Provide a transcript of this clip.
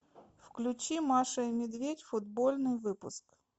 включи маша и медведь футбольный выпуск